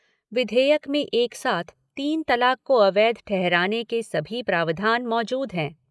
विधेयक में एक साथ तीन तलाक को अवैध ठहराने के सभी प्रावधान मौजूद हैं।